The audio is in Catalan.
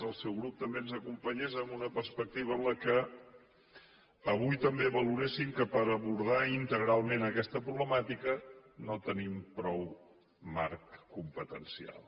el seu grup també ens acompanyés en una perspectiva en què avui també valoressin que per abordar integralment aquesta problemàtica no tenim prou marc competencial